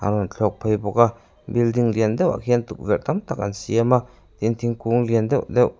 a rawn thlawk phei bawk a building lian deuhah khian tukverh tam tak an siam a tin thingkung lian deuh deuh.